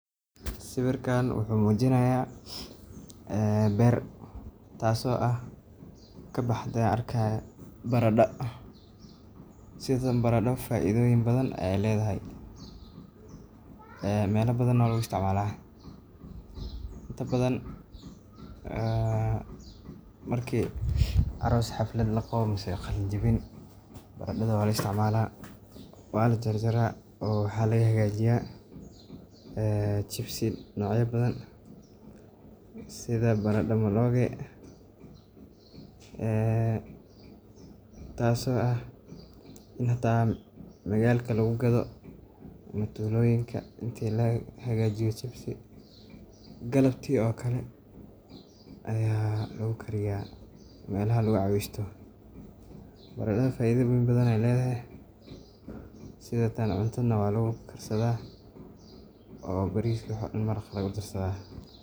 Sawiirkaan wuxuu mujinaaya beer taas oo kabaxde barada faida badan ayeey ledahay meela badan ayaa laga isticmaalo sida marka xaflad laqabo lagama nooge taas oo ah in xitaa magaalka lagu gado ama tuloyinka galabti ayaa kagu gadaa meelaha lagu caweesto cuntada ayaa lagu darsadaa sida maraqa camal.